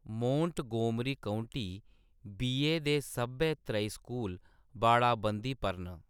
Montgomery County, VA. दे सब्भै त्रेई स्कूल बाड़ाबंदी पर न।